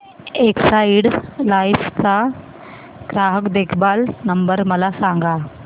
Exide life चा ग्राहक देखभाल नंबर मला सांगा